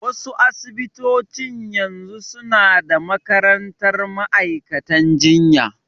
Wa su asibitocin yanzu su na da makarantar ma'aikantan jinya